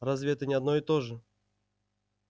разве это не одно и то же